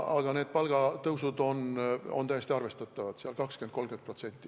Aga need palgatõusud on tõesti arvestatavad, 20–30%.